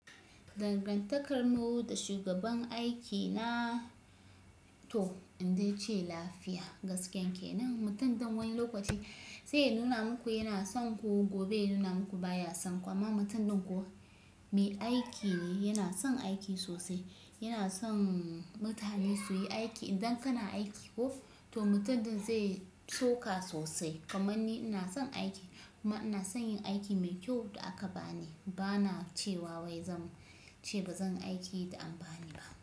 Dangan takar mu da shugaban aiki na to in dai ce lafiya gaskiyan kenan, mutum dan wani lokaci sai yanuna muku yana son ku gobe yanuna muku baya son ku amma mutum ɗin ko me aiki ne, yana son aiki sosai, yana son mutane su yi aiki. Idan kana aiki ko to mutum ɗin zai soka sosai. Kamanni ina son aiki kuma ina son yin aiki mai kyau da aka bani. Bana cewa wai zan ce ba zanyi aiki da an bani ba.